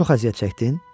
Çox əziyyət çəktin?